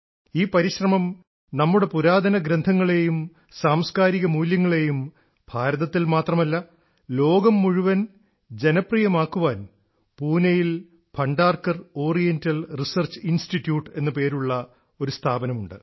ഈ പരിശ്രമം നമ്മുടെ പുരാതനഗ്രന്ഥങ്ങളേയും സാംസ്ക്കാരിക മൂല്യങ്ങളേയും ഭാരതത്തിൽ മാത്രമല്ല ലോകം മുഴുവൻ ജനപ്രിയമാക്കുവാൻ പൂനെയിൽ ഭണ്ഡാർക്കർ ഓറിയന്റൽ റിസർച്ച് ഇൻസ്റ്റിറ്റ്യൂട്ട് എന്നു പേരുള്ള ഒരു സ്ഥാപനം ഉണ്ട്